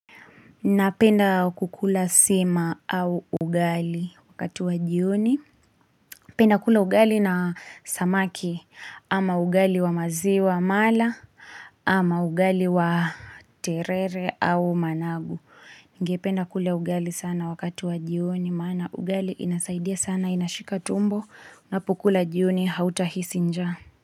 Napenda kukula sima au ugali wakatu wa jioni. Penda kula ugali na samaki ama ugali wa maziwa mala ama ugali wa terere au managu. Ningependa kula ugali sana wakati wa jioni maana ugali inasaidia sana inashika tumbo na unapokula jioni hautahisi njaa.